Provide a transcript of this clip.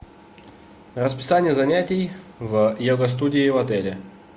расписание занятий в йога студии в отеле